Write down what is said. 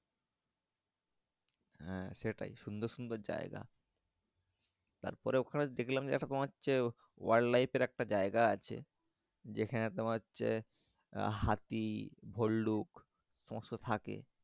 হ্যাঁ সেটাই সুন্দর সুন্দর জায়গা তার পরে ওখানে দেখলাম যে তোমার হচ্ছে wildlife এর একটা জায়গা আছে যেখানে তোমার হচ্ছে হাতি, ভল্লুক সমস্ত থাকে।